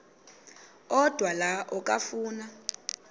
odwa la okafuna